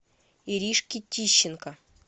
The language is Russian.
иришки тищенко